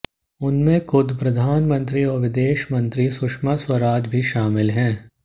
उनमें खुद प्रधानमंत्री और विदेश मंत्री सुषमा स्वराज भी शामिल हैं